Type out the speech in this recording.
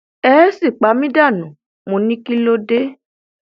ẹ é sì pa mí dànù mo ní kí ló dé